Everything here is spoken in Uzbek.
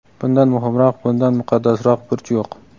Bundan muhimroq, bundan muqaddasroq burch yo‘q.